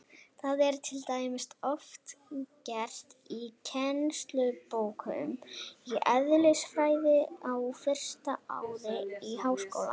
Það er til dæmis oft gert í kennslubókum í eðlisfræði á fyrsta ári í háskóla.